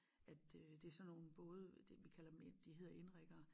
At øh det sådan nogen både det vi kalder dem de hedder inriggere